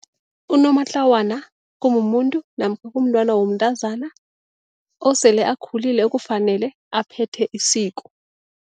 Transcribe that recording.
Unomatlawana kumumuntu namkha kumntwana womntazana osele akhulile kufanele aphethe isiko.